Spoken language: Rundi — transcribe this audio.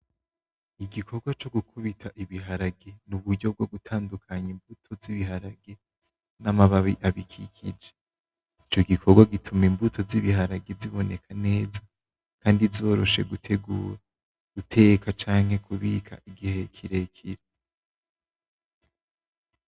Igikorwa co gukubita ibiharage n'uburyo bwo gutandukanya imbuto z'ibiharage n'amababi abikikije, ico gikorwa gituma imbuto z'ibiharage ziboneka neza kandi zoroshe gutegura, guteka canke kubika igihe kirekire.